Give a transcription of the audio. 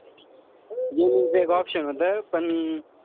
Gaming च एक option होत. पण,